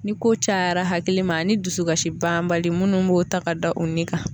Ni ko caya hakili ma ani dusukasi banbali munnu b'o o ta ka da u nin kan